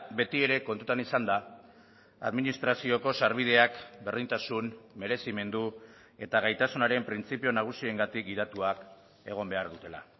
beti ere kontutan izanda administrazioko sarbideak berdintasun merezimendu eta gaitasunaren printzipio nagusiengatik gidatuak egon behar dutela